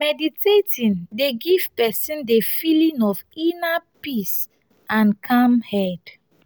meditating dey give person di feeling of inner peace and calm head